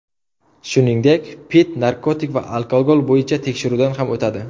Shuningdek, Pitt narkotik va alkogol bo‘yicha tekshiruvdan ham o‘tadi.